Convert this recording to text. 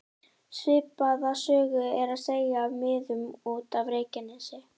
Svipaða sögu er að segja af miðum út af Reykjanesi.